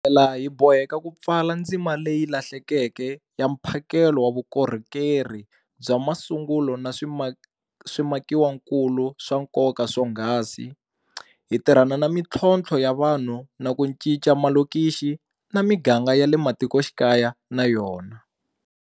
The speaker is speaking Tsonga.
Hi tlhela hi boheka ku pfala ndzima leyi lahlekeke ya mphakelo wa vukorhokeri bya masungulo na swimakiwakulu swa nkoka swonghasi, hi tirhana na mitlhontlho ya vanhu na ku cinca malokixi na miganga ya le matikoxikaya na yona.